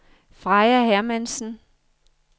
Freja Hermansen